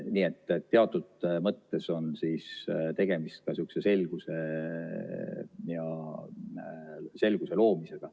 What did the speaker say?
Nii et teatud mõttes on tegemist ka selguse loomisega.